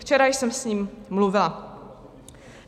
Včera jsem s ním mluvila.